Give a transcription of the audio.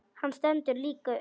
Hann stendur líka upp.